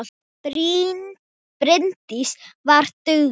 Bryndís var dugleg.